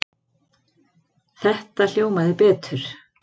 Þetta hljómaði betur.